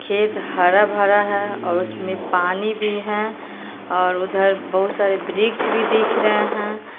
खेत हरा भरा है और उसमें पानी भी है और उधर बहुत सारे वृक्ष भी दिख रहे हैं।